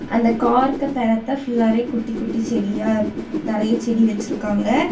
அந்த கார்க்கு பெறத்த புல்லாவே குட்டி குட்டி செடியா நெறைய செடி வச்சிருக்காங்க.